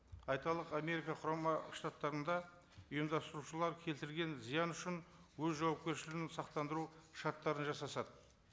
айталық америка құрама штаттарында ұйымдастырушылар келтірген зиян үшін өз жауапкершілігін сақтандыру шарттарын жасасады